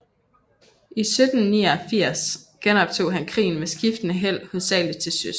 I 1789 genoptog han krigen med skiftende held hovedsageligt til søs